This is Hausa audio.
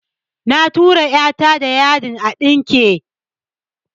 Na tura "ya ta da yadin a ɗinke